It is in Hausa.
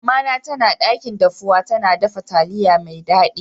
Mama na tana dakin dafuwa, tana dafa taliyar mai daddi.